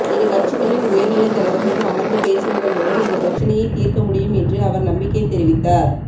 இரு கட்சிகளின் உயர்நிலைத் தலைவர்களும் அமர்ந்து பேசுவதன் மூலம் இந்தப் பிரச்சினையைத் தீர்க்க முடியும் என்றும் அவர் நம்பிக்கை தெரிவித்தார்